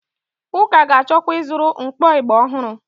Ụka ga-achọkwa ịzụrụ mkpọ ịgbà ọhụrụ.